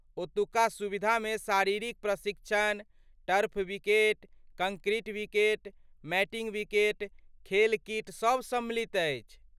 ओतुका सुविधामे शारीरिक प्रशिक्षण, turf wicket, concrete wicket, matting wicket, खेल किट सभ सम्मिलित अछि।